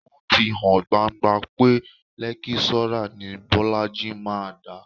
Ó ti hàn gbangba pé lẹ́kíṣọ́rà ni Bọ́lájí máa dà